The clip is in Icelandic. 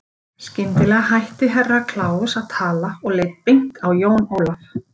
Skyndilega hætti Herra Kláus að tala og leit beint á Jón Ólaf.